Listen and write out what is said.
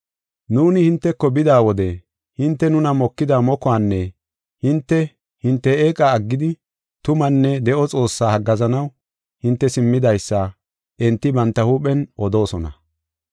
Nuuni hinteko bida wode hinte nuna mokida mokuwanne hinte, hinte eeqa aggidi tumaanne de7o Xoossaa haggaazanaw hinte simmidaysa enti banta huuphen odoosona.